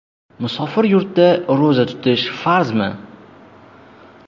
Musofir yurtda ro‘za tutish farzmi?.